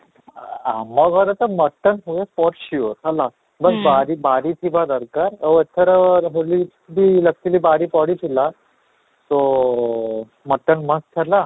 ଆଃ ଆମ ଘରେ ତ mutton ହୁଏ sure ହେଲା, but ବାରି ବାରି ଥିବା ଦରକାର ଆଉ ଏଥର ହୋଲି ବି actually ବାରି ପଡିଥିଲା, ତ mutton ମସ୍ତ ହେଲା